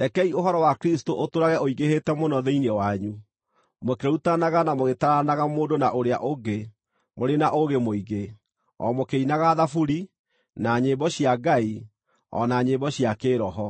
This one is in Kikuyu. Rekei ũhoro wa Kristũ ũtũũrage ũingĩhĩte mũno thĩinĩ wanyu, mũkĩrutanaga na mũgĩtaaranaga mũndũ na ũrĩa ũngĩ mũrĩ na ũũgĩ mũingĩ, o mũkĩinaga thaburi, na nyĩmbo cia Ngai, o na nyĩmbo cia kĩĩroho,